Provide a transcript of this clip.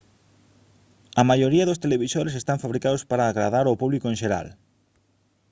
a maioría dos televisores están fabricados para agradar ao público en xeral